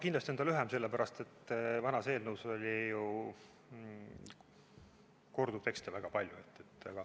Kindlasti on ta lühem, sest vanas eelnõus oli ju korduvtekste väga palju.